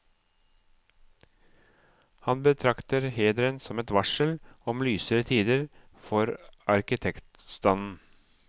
Han betrakter hederen som et varsel om lysere tider for arkitektstanden.